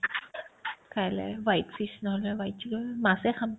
কাইলে white fish নহ'লে বা white chicken মাছে খাম